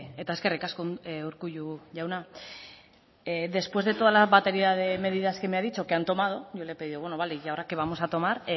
eta eskerrik asko urkullu jauna después de toda la batería de medidas que me ha dicho que han tomado yo le he pedido bueno ya vale y ahora que vamos a tomar